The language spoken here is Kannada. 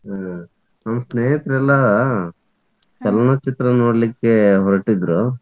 ಹ್ಮ್ ನಮ್ಮ್ ಸ್ನೇಹಿತ್ರೆಲ್ಲಾ ಚಲನಚಿತ್ರ ನೋಡ್ಲಿಕ್ಕೆ ಹೊರಟಿದ್ರು.